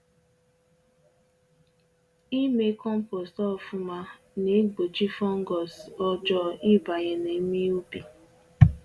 Ime compost ofu-ma na-egbochi fungus ọjọọ ịbanye na-eme ubi